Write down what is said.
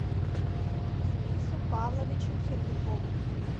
денису павловичу сердюкову